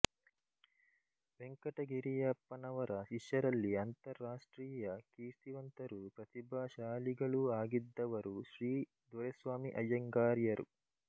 ವೆಂಕಟಗಿರಿಯಪ್ಪನವರ ಶಿಷ್ಯರಲ್ಲಿ ಅಂತರರಾಷ್ಟ್ರೀಯ ಕೀರ್ತಿವಂತರೂ ಪ್ರತಿಭಾಶಾಲಿಗಳೂ ಆಗಿದ್ದವರು ಶ್ರೀ ದೊರೆಸ್ವಾಮಿ ಐಯ್ಯಂಗಾರ್ಯರು